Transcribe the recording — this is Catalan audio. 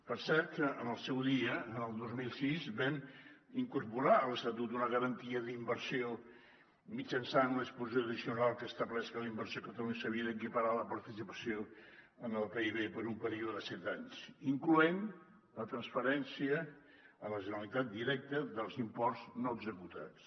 per cert que en el seu dia el dos mil sis vam incorporar a l’estatut una garantia d’inversió mitjançant una disposició addicional que estableix que la inversió a catalunya s’havia d’equiparar a la participació en el pib per un període de set anys incloent hi la transferència a la generalitat directa dels imports no executats